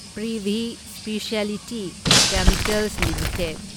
Privi speciality chemicals limited